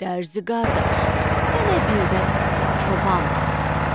Dərzi qardaş, mənə bir dəst çoban paltarı tik.